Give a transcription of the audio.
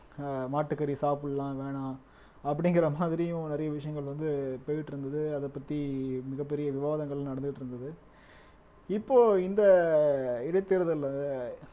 ஆஹ் மாட்டுக்கறி சாப்பிடலாம் வேணாம் அப்படிங்கிற மாதிரியும் நிறைய விஷயங்கள் வந்து போயிட்டு இருந்தது அதை பத்தி மிகப் பெரிய விவாதங்கள் நடந்துட்டிருந்தது இப்போ இந்த இடைத்தேர்தல்ல